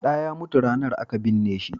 da ya mutu ranan a ka binne shi?